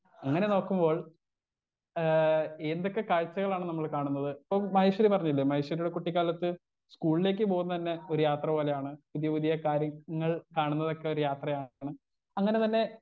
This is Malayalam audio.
സ്പീക്കർ 1 അങ്ങനെ നോക്കുമ്പോൾ ഏ എന്തൊക്കെ കാഴ്ച്ചകളാണ് നമ്മൾ കാണുന്നത് ഇപ്പം മഹേശ്വരി പറഞ്ഞില്ലേ മഹേശ്വരിയുടെ കുട്ടിക്കാലത്ത് സ്കൂളിലേക്ക് പോകുന്നന്നെ ഒരു യാത്ര പോലെയാണ് പുതിയ പുതിയ കാര്യങ്ങൾ കാണുന്നതൊക്കെ ഒരു യാത്രയാണ് അങ്ങനെ തന്നെ.